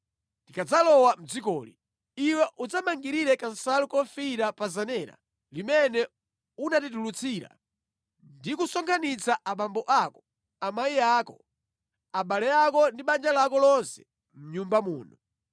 tikadzalowa mʼdzikoli, iwe udzamangirire kansalu kofiira pa zenera limene unatitulutsira, ndi kusonkhanitsa abambo ako, amayi ako, abale ako ndi banja lako lonse mʼnyumba muno.